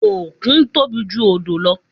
Òkun tóbi ju odò lọ